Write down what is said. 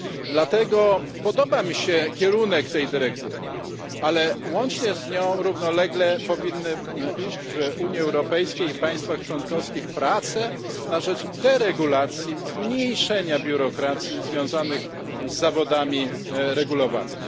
Dlatego podoba mi się kierunek tej dyrektywy, ale łącznie z nią, równolegle, powinny iść w Unii Europejskiej i państwach członkowskich prace na rzecz deregulacji, zmniejszenia biurokracji związanych z zawodami regulowanymi.